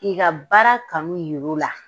K'i ka baara kanu yir'u la.